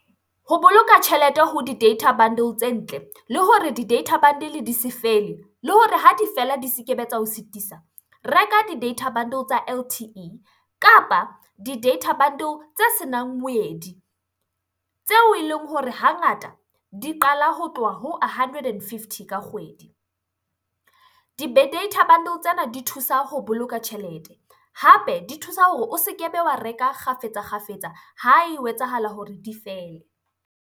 Ho boloka tjhelete ho di-data bundle tse ntle, le hore di-data bundle di se fele, le hore ha di fela di se kebe tsa o sitisa. Reka di-data bundle tsa L_T_E kapa di-data bundle tse senang moedi. Tseo eleng hore hangata di qala ho tloha ho hundred and fifty ka kgwedi. Di-data bundle tsena di thusa ho boloka tjhelete, hape di thusa hore o se kebe wa reka kgafetsa-kgafetsa ha ho etsahala hore di fele.